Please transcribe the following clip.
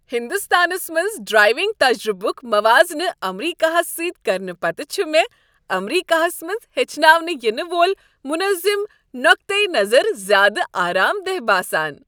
ہندوستانس منٛز ڈرٛایونٛگ تجربُک موازنہٕ امریکہس سۭتۍ کرنہٕ پتہٕ چھ مےٚ امریکہس منٛز ہیٚچھناونہٕ ینہٕ وول منظم نۄقطہٕ نظر زیٛادٕ آرام دہ باسان ۔